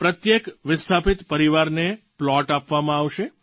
પ્રત્યેક વિસ્થાપિત પરિવારને પ્લૉટ આપવામાં આવશે